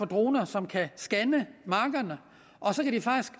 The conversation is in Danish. droner som kan scanne markerne og